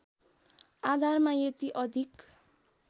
आधारमा यति अधिक